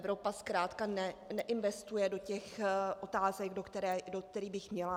Evropa zkrátka neinvestuje do těch otázek, do kterých by měla.